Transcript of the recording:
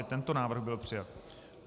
I tento návrh byl přijat.